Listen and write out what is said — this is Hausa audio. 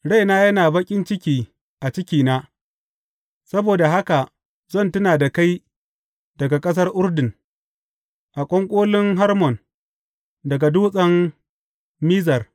Raina yana baƙin ciki a cikina; saboda haka zan tuna da kai daga ƙasar Urdun, a ƙwanƙolin Hermon, daga Dutsen Mizar.